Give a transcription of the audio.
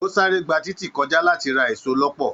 O sáré gbà títí kọjá láti ra èso lọpọ.